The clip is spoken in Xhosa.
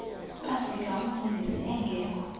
bafika umfundisi engekho